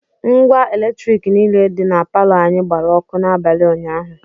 Ngwa Eletriki niile dị na palọ anyị gbara ọkụ n'abalị ụnyaahụ